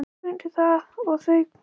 Hún tekur undir það og þau kveðjast.